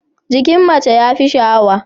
Jikin mace ya fi sha'awa.